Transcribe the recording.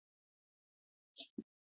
duro awọn gun far nṣiṣẹ